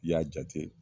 I y'a jate